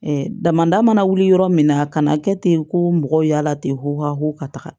damanda mana wuli yɔrɔ min na a kana kɛ ten ko mɔgɔw y'a la ten ko hahko ka taga